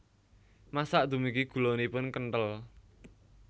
Masak dumugi gulanipun kenthel